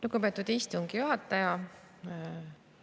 Lugupeetud istungi juhataja!